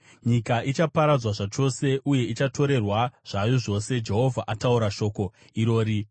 Nyika ichaparadzwa zvachose uye ichatorerwa zvayo zvose. Jehovha ataura shoko irori.